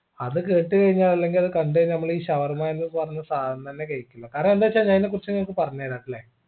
അത് കേട്ട് കഴിഞ്ഞാൽ അല്ലെങ്കിൽ അത് കണ്ട് കഴിഞ്ഞാൽ നമ്മൾ ഈ ഷവർമ എന്ന് പറഞ്ഞ സാധനം തന്നെ കഴിക്കില്ല കാരണം എന്താ വെച്ചാൽ അയിനാ കുറിച്ച് നിങ്ങക്ക് പറഞ്ഞരാട്ടില്ല